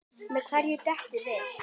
Með hverju beitið þið?